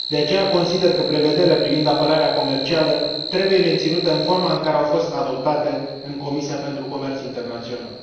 De aceea, consider că prevederile privind apărarea comercială trebuie menținute în forma în care au fost adoptate în Comisia pentru comerț internațional.